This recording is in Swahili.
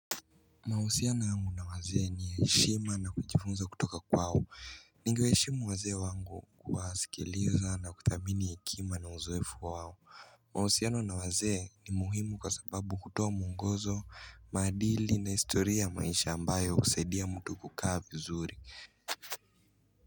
Mahusiana yangu na wazee ni heshima na kujifunza kutoka kwao Ningewaheshimu wazee wangu kuwasikiliza na kuthamini hekima na uzoefu wao Mahusiana na wazee ni muhimu kwa sababu hutoa muongozo, maadili na historia ya maisha ambayo husaidia mtu kukaa vizuri.